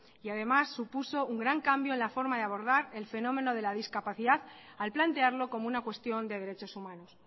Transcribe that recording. además supuso un gran cambio en la forma de abordar el fenómeno de la discapacidad al plantearlo como una cuestión de derechos humanos